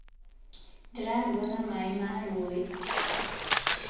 Ndĩraruga na maĩ ma rũĩ